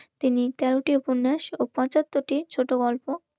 তিনি কাউকে উপন্যাস ও পঁচাত্তরটি ছোট গল্প.